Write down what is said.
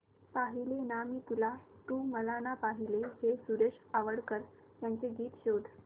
पाहिले ना मी तुला तू मला ना पाहिले हे सुरेश वाडकर यांचे गीत शोध